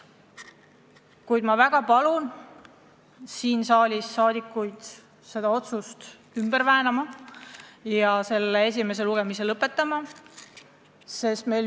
Kuid ma väga palun teil seda otsust mitte arvestada ja esimene lugemine lõpetada.